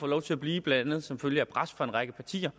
lov til at blive blandt andet som følge af pres fra en række partier